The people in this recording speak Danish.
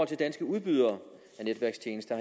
til danske udbydere af netværkstjenester